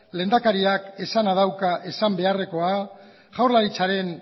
lehendakariak esana dauka esan beharrekoa jaurlaritzaren